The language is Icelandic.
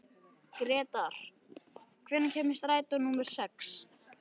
Gretar, hvenær kemur strætó númer sex?